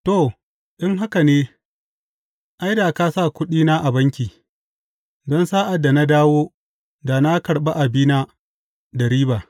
To, in haka ne, ai, da ka sa kuɗina a banki, don sa’ad da na dawo da na karɓi abina da riba.